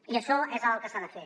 i això és el que s’ha de fer